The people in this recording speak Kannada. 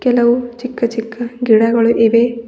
ಹಲವು ಚಿಕ್ಕ ಚಿಕ್ಕ ಗಿಡಗಳು ಇವೆ.